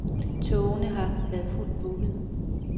Togene har været fuldt bookede.